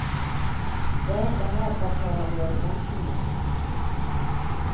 Vi är inte här för att tala om våra förväntningar.